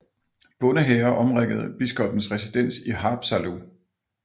Bondehære omringede biskoppens residens i Haapsalu